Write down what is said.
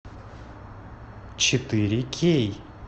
четыре кей